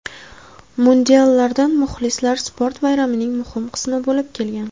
Mundiallarda muxlislar sport bayramining muhim qismi bo‘lib kelgan.